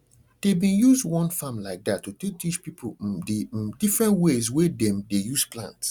dey bin use um one farm like dat to take teach pipo um d um different ways wey dem dey use plant